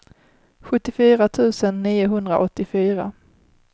sjuttiofyra tusen niohundraåttiofyra